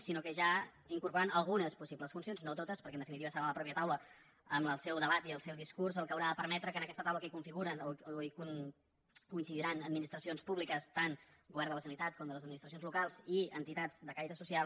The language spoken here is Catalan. sinó ja incorporant hi algunes possibles funcions no totes perquè en definitiva serà la mateixa taula amb el seu debat i el seu discurs la que haurà de permetre que en aquesta taula en què es configuren o coincidiran administracions públiques tant el govern de la generalitat com les administracions locals i entitats de caire social